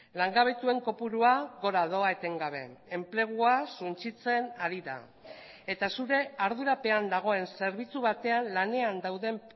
langabetuen kopurua gora doa etengabe enplegua suntsitzen ari da eta zure ardurapean dagoen zerbitzu batean lanean dauden